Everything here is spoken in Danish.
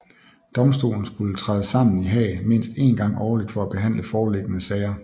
Domstolen skulle træde sammen i Haag mindst en gang årlig for at behandle foreliggende sager